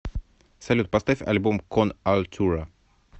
салют поставь альбом кон альтура